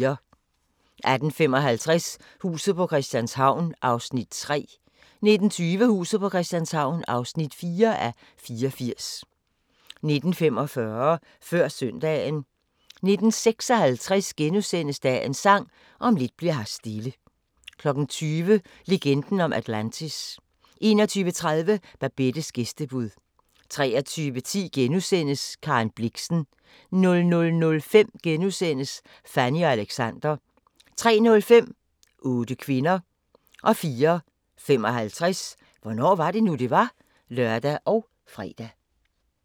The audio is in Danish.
18:55: Huset på Christianshavn (3:84) 19:20: Huset på Christianshavn (4:84) 19:45: Før søndagen 19:56: Dagens Sang: Om lidt bli'r her stille * 20:00: Legenden om Atlantis 21:30: Babettes gæstebud 23:10: Karen Blixen * 00:05: Fanny og Alexander * 03:05: 8 kvinder 04:55: Hvornår var det nu, det var? (lør og fre)